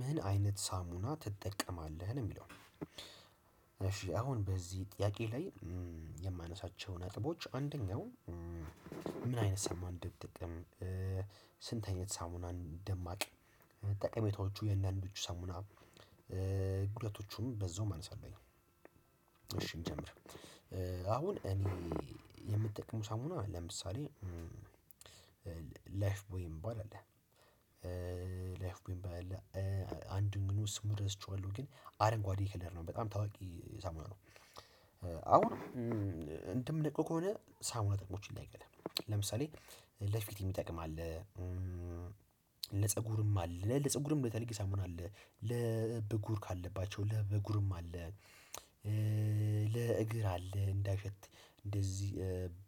ምን አይነት ሳሙና ትጠቀማለህ ነው የሚለው እሺ አሁን በዚህ ጥያቄ ላይ? የማነሳቸው ነጥቦች አንደኛው። ምን አይነት ሳሙና እንደምጠቀም። ስንት አይነት ሳሙና እንደማቅ። ጠቀሜታዎቹ የእያንዳንዶቹ ሳሙና ጉዳቶቹም በዛውም አነሳለሁኝ። እሺ እንጀምር። አሁን እኔ የምጠቅመው ሳሙና ለምሳሌ ላይፍ ቦይ የሚባል አለ። ላይፍ ቦይ የሚባል አንድ ግን ምን ነው ስሙ ረስቸዋለሁ። ግን አረንጓዴ ክለር ነው በጣም ታዋቂ ሳሙና ነው። አሁን እንትን ምናቀው ከሆነ ሳሙና ጥቅሞችን ላይቀር ለምሳሌ ለፊት የሚጠቅም አለ። ለፀጉርም አለ ለፀጉርም የተለየ ሳሙና አለ ለብጉር ካለባቸው ለብጉርም አለ። ለእግር አለ እንዳይሸት እንደዚህ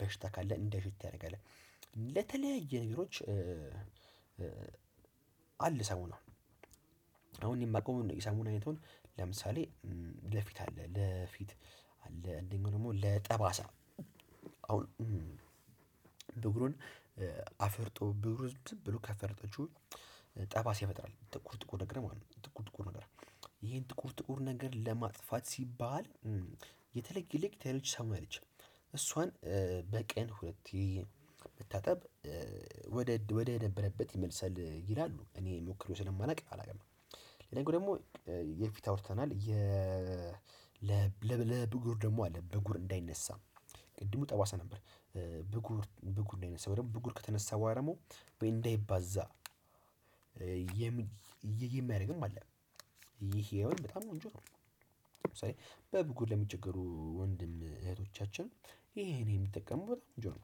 በሽታ ካለ እንዳይሸት ያደርጋል። ለተለያዩ ነገሮች አለ ሳሙናአሁን። እኔ የማውቀው የሰሙና አይነቱን ለምሳሌ ለፊት አለ ለፊት አለ እንደኛው ደግሞ ለጠባሳ አሁን ብጉርን አፍርጡኝ ብሎ ካፈረጣችሁት ጠባሳ ያመጣል። ጥቁር ጥቁር ነገር ማለት ነው። ጥቁር ጥቁር ነገር ይሄን ጥቁር ጥቁር ነገር ለማጥፋት ሲባል። የተለየ ልክ ከሌሎች የተለየች ሳሙና አለች እሷን። በቀን ሁለት ጊዜ መታጠብ ወደ ወደ ነበረበት ይመልሳል ይላሉ። እኔ ሞክሬው ስለማላውቅ አላውቅም ደግሞ ለነገው ደግሞ የፊት አውርተናል። ለብጉር ደግሞ አለ ብጉር እንዳይነሳ ቅድሙ ጠባሳ ነበር። ብጉር ብጉር እንዳይነሳ ወይም ብጉር ከተነሳው በኋላ ደግሞ ወይ እንዳይባዛ የሚያደርግም አለ። ይሄ በጣም ቆንጆ ነው። ለምሳሌ በብጉ ለሚቸገሩ ወንድም እህቶቻችን ይሄን እኔ የምጠቀመው በጣም ቆንጆ ነው።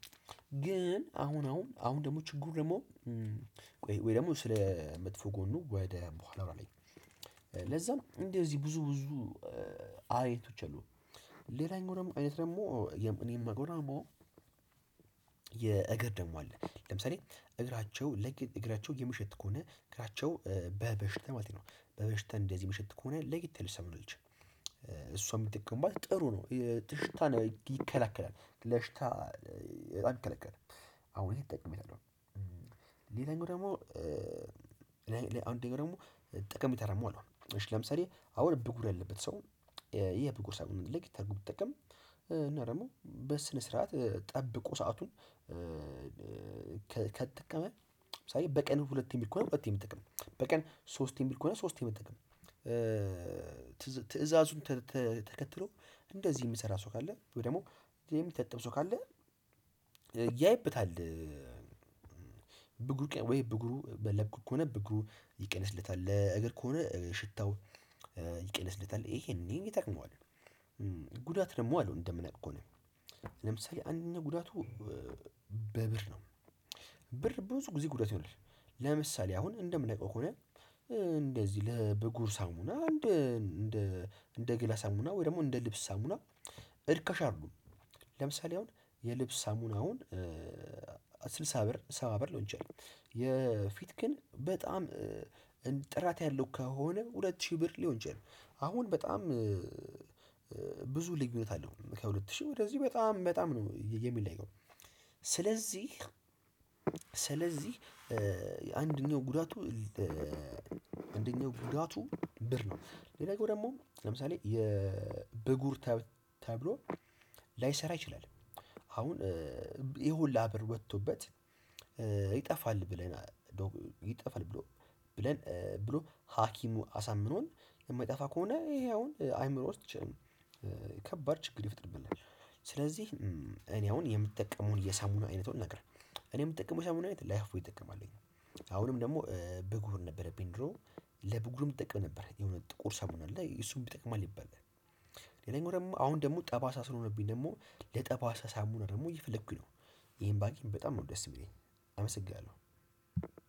ግን አሁን አሁን አሁን ደግሞ ችግሩ ደግሞ። ወይ ደግሞ ስለ መጥፎ ጎኑ ወደ በኋላ ላይ ለዛ ነው እንደዚህ ብዙ ብዙ አይነቶች አሉ። ሌላኛው ደግሞ አይነት ደግሞ እኔም ማቀው ደግሞ። የእግር ደግሞ አለ ለምሳሌ እግራቸው እግራቸው የምሽት ከሆነ እግራቸው በበሽታ ማለቴ ነው። በበሽታ እንደዚህ ሚሽት ከሆነ ለየት ያለች ሳሙና አለች። እሱ የሚጠቅምባት ጥሩ ነው። ሽታን ይከለክላል ለሽታ በጣም ይከላከላል። አሁን ይሄን ተጠቅሜያለሁ። ሌላኛው ደግሞ አንደኛ ደግሞ ጠቀሜታ ደግም አለው እሺ ለምሳሌ አዎ ብጉር ያለበት ሰው የብጉር ሳሙና ልኬት አርጎ ቢጠቀም። እና ደግሞ በስነ ስርዓት ጠብቆ ሰአቱን። ከተጠቀመ ምሳሌ በቀን ሁለቴ የሚል ከሆነ ሁለቴ መጠቀም በቀን ሶስቴ የሚል ከሆነ ሶስቴ መጠቀም። ትእዛዙን ተከትሎ እንደዚህ የሚሰራ ሰው ካለ ወይ ደግሞ የሚታጠብ ሰው ካለ። ያይበታል። ብግሩ ወይ ብግሩ ለቆት ከሆነ ብግሩ ይቀንስለታል ለእግር ከሆነ ሽታው ይቀንስለታል ይሄንን ይጠቅመዋል። ጉዳት ደግሞ አለው እንደምናቀው ከሆነ ለምሳሌ አንደኛው ጉዳቱ በብር ነው። ብር ብዙ ጊዜ ጉዳት ይሆናል። ለምሳሌ አሁን እንደምነቃው ከሆነ። እንደዚህ ለብጉር ሳሙና እንደ እንደ እንደ ገላ ሳሙና ወይ ደግሞ እንደ ልብስ ሳሙና እርካሽ አይደሉም። ለምሳሌ አሁን የልብስ ሳሙናውን ስልሳ ብር ሰባ ብር ሊሆን ይችላል። የፊት ግን በጣም ጥራት ያለው ከሆነ ሁለት ሺህ ብር ሊሆን ይችላል። አሁን በጣም ብዙ ልዩነት አለው ከሁለት ሺህ ወደዚህ በጣም በጣም ነው የሚለየው። ስለዚህ ስለዚህ አንደኛው ጉዳቱ። አንደኛው ጉዳቱ ብር ነው ሌላ ጊዜ ደግሞ ለምሳሌ የብጉር ተብሎ ላይሰራ ይችላል። አሁን ይሄን ሁላ ብር ወጥቶበት ይጠፋል ብለን ይጠፋል ብሎ ብለን ብሎ ሀኪሙ አሳምኖን የማይጠፋ ከሆነ ይሄ አሁን አይምሮ ውስጥ ይችላል ከባድ ችግር ይፈጥርብናል። ስለዚህ እኔ አሁን የምጠቀመውን የሳሙና አይነት ነገር እኔ የምጠቀመው የሳሙና አይነት ላይፉቦይ እጠቀማለሁ። አሁንም ደግሞ ብጉር ነበረብኝ ድሮ ለብግሩም እጠቀም ነበር የሆነ ጥቁር ሳሙና አለ እሱም ይጠቅማል ይባላል። ሌላኛው ደግሞ አሁን ደግሞ ጠባሳ ስለሆነብኝ ደግሞ ለጠባሳ ሳሙና ደግሞ እየፈለኩኝ ነው። ይሄን ባገኝ በጣም ነው ደስ የሚለኝ። አመሰግናለሁ።